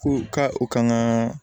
Ko ka u ka kan